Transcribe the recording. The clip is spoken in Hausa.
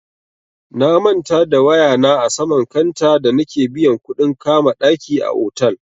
Na manta da waya na a saman kanta da nake biyan kuɗin kama ɗaki a otal.